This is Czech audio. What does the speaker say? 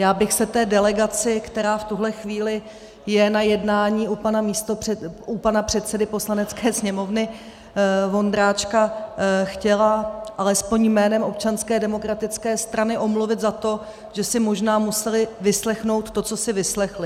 Já bych se té delegaci, která v tuhle chvíli je na jednání u pana předsedy Poslanecké sněmovny Vondráčka, chtěla alespoň jménem Občanské demokratické strany omluvit za to, že si možná museli vyslechnout to, co si vyslechli.